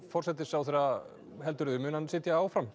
forsætisráðherra mun hann sitja áfram